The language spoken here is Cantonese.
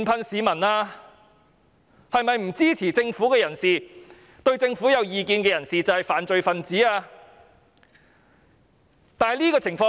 是否不支持政府、與政府持不同意見的人便是犯罪分子？